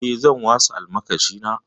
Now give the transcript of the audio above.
Eh, zan wasa almakashina.